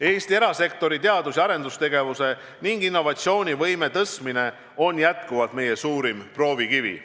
Eesti erasektori teadus- ja arendustegevuse ning innovatsiooni võime tõstmine on endiselt meie suurim proovikivi.